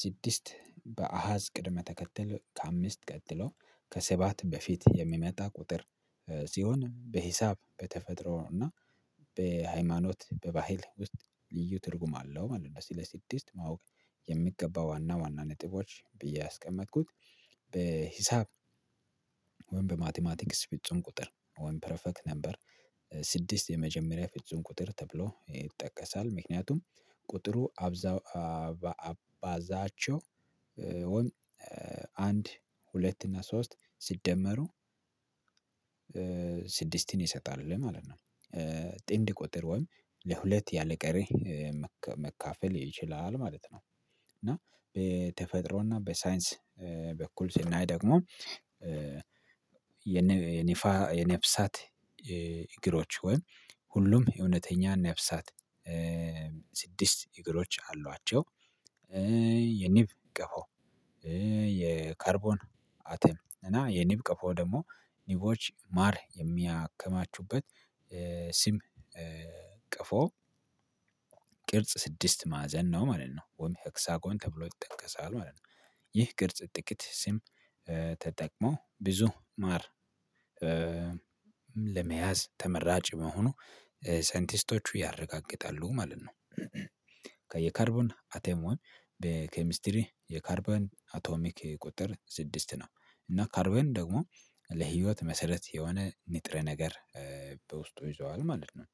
ስድስት በአሃዝ ቅድመ ተከተል ከአምስት ቀጥሎ ከሰባት በፊት የሚመጣ ቁጥር ሲሆን በሂሳብ በተፈጥሮ እና በሃይማኖት በባህል ውስጥ ልዩ ትርጉም አለው ማለት ነው ስለ ስድስት ማወቅ የሚገባው ዋና ዋና ነጥቦች ብዬ ያስቀመጥኩት። በሂሳብ ወይም በማቲማቲክስ ፍጹም ቁጥር ወይም ፕረፈክት ነበር። ስድስት የመጀመሪያ ፍጹም ቁጥር ተብሎ ይጠቀሳል ምክንያቱም ቁጥሩ አባዛቸው አንድ ሁለት እና ሶስት ስትደመሩ ስድስትን ይሰጣል ለማለት ነው። ጥንድ ቁጥር ወይም ለሁለት ያለ ቀሪ መካፈል ይችላል ማለት ነው። እና በተፈጥሮና በሳይንስ በኩል ስናይ ደግሞ የነፍሳት እግሮች ወይም ሁሉም የእውነተኛ ነፍሳት ስድስት እግሮች አሏቸው። የንብ ቀፎ የካርቦን አተም እና የኒብ ቀፎ ደግሞ ኒቦች ማር የሚያከማቹበት ሲም ቀፎ ቅርጽ ስድስት ማዕዘን ነው ማለት ነው ወም ሄክሳጎን ተብሎ ይጠቀሳል ማለት ነው። ይህ ቅርጽ ጥቂት ስም ተጠቅሞ ብዙ ማር ለመያዝ ተመራጭ መሆኑ ሳይንቲስቶቹ ያረጋግጣሉ ማለት ነው። የካርቦን አቴሞን በኬሚስትሪ የካርበን አቶሚክ ቁጥር ስድስት ነው እና ካርበን ደግሞ ለህይወት መሰረት የሆነ ንጥረ ነገር በውስጡ ይዘዋል ማለት ነው።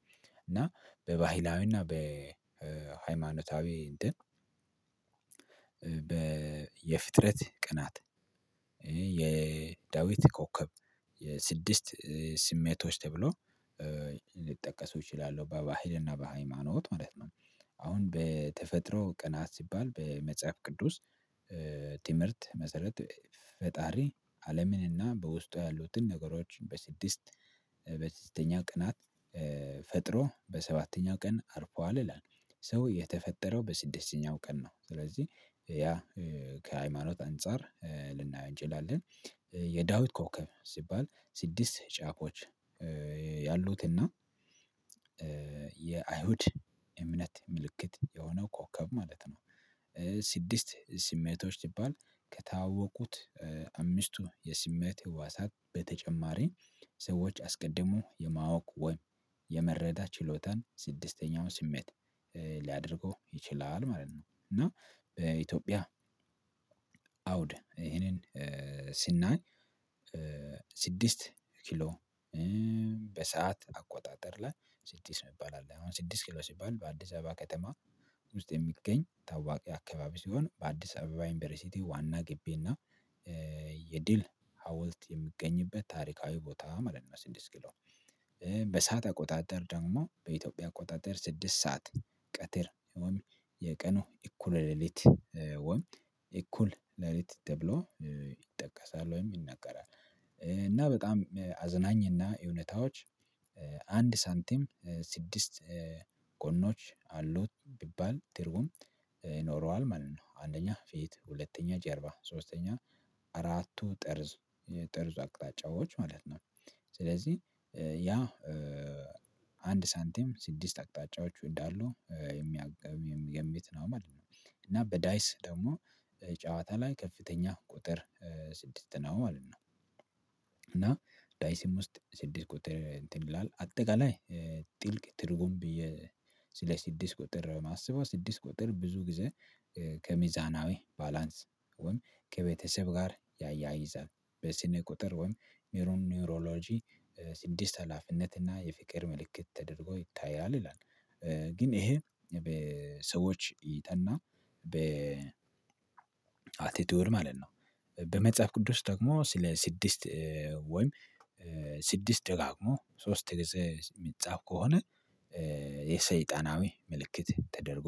እና በባህላዊና በሃይማኖታዊ እንትን የፍጥረት ቀናት የዳዊት ኮከብ የስድስት ስሜቶች ተብሎ ሊጠቀሱ ይችላሉ በባህልና በሃይማኖት ማለት ነው። አሁን በተፈጥሮ ቀናት ሲባል በመጽሐፍ ቅዱስ ትምህርት መሰረት ፈጣሪ አለምን እና በውስጧ ያሉትን ነገሮችን በስድስት በስድስተኛ ቀናት ፈጥሮ በሰባተኛ ቀን አርፏል ይላል። ሰው የተፈጠረው በስድስተኛው ቀን ነው። ስለዚህ ያ ከሃይማኖት አንፃር ልናየው እንችላለን። የዳዊት ኮከብ ሲባል ስድስት ጫፎች ያሉትና የአይሁድ የእምነት ምልክት የሆነው ኮከብ ማለት ነው። ስድስት ስሜቶች ሲባል ከታወቁት አምስቱ የስሜት ህዋሳት በተጨማሪ ሰዎች አስቀድሞ የማወቅ ወይም የመረዳት ችሎታን ስድስተኛውን ስሜት ሊያደርገው ይችላል ማለት ነው። እና በኢትዮጵያ አውድ ይሄንን ስናይ ስድስት ኪሎ በሰአት አቆጣጠር ላይ ስድስት መባል አለ አሁን ስድስት ኪሎ ሲባል በአዲስ አበባ ከተማ ውስጥ የሚገኝ ታዋቂ አካባቢ ሲሆን በአዲስ አበባ ዩንቨርሲቲ ዋና ግቢና የድል ሀውልት የሚገኝበት ታሪካዊ ቦታ ማለት ነው። ስድስት ኪሎ በሰአት አቆጣጠር ደግሞ በኢትዮጵያ አቆጣጠር ስድስት ሰዓት ቀትር ወይም የቀኑ እኩለ ሌሊት ወይም እኩል ሌሊት ተብሎ ይጠቀሳል ወይም ይነገራል። እና በጣም አዝናኝና እውነታዎች አንድ ሳንቲም ስድስት ጎኖች አሉት ቢባል ትርጉም ይኖረዋል ማለት ነው። አንደኛ ፊት ሁለተኛ ጀርባ ሶስተኛ አራቱ ጠርዝ የጠርዙ አቅጣጫዎች ማለት ነው። ስለዚህ ያ አንድ ሳንቲም ስድስት አቅጣጫዎች እንዳሉ ቤት ነው ማለት ነው። እና በዳይስ ደግሞ ጨዋታ ላይ ከፍተኛ ቁጥር ስድስት ነው ማለት ነው። እና ዳይስም ውስጥ ስድስት ቁጥር እንትን ይላል አጠቃላይ ጥልቅ ትርጉም ብዬ ስለ ስድስት ቁጥር ማስበው ስድስት ቁጥር ብዙ ጊዜ ከሚዛናዊ ባላንስ ወይም ከቤተሰብ ጋር ያያይዛል። በስነ ቁጥር ወይም ኒውሮሎጂ ስድስት ሀላፊነት እና የፍቅር ምልክት ተደርጎ ይታያል ይላል። ግን ይሄ በሰዎች ይጠና አት ኤ ቲወሪ ማለት ነው። በመጽሐፍ ቅዱስ ደግሞ ስለ ስድስት ወይም ስድስት ደጋግሞ ሶስት ጊዜ የሚጻፍ ከሆነ የሰይጣናዊ ምልክት ተደርጎ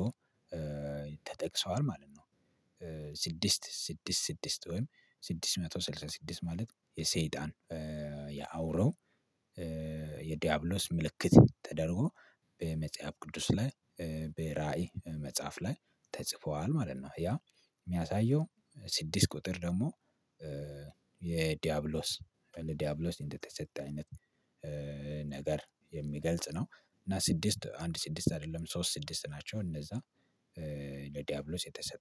ተጠቅሰዋል ማለት ነው። ስድስት ስድስት ስድስት ወይም ስድስት መቶ ስልሳ ስድስት ማለት የሰይጣን ያውሬው የዲያብሎስ ምልክት ተደርጎ በመጽሐፍ ቅዱስ ላይ በራዕይ መጽሐፍ ላይ ተጽፏል ማለት ነው። ያ የሚያሳየው ስድስት ቁጥር ደግሞ ለዲያብሎስ እንደተሰጠ አይነት ነገር የሚገልጽ ነው። እና ስድስት አንድ ስድስት አይደለም ሶስት ስድስት ናቸው እነዛ ዲያብሎስ የተሰጠ